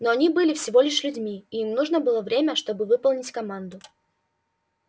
но они были всего лишь людьми и им нужно было время чтобы выполнить команду